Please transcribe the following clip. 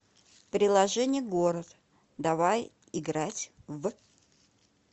приложение город давай играть в